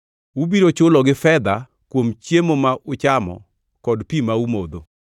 Ubiro chulogi fedha kuom chiemo ma uchamo kod pi ma umodho.’ ”